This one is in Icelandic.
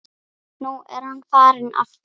Nú er hann farinn aftur